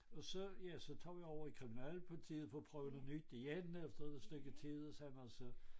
Og så ja så tog jeg over i kriminalpolitiet for at prøve noget nyt igen efter et stykke tid og så man så